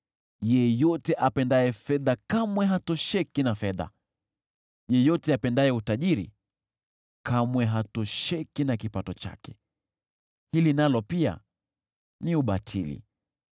Yeyote apendaye fedha kamwe hatosheki na fedha; yeyote apendaye utajiri kamwe hatosheki na kipato chake. Hili nalo pia ni ubatili.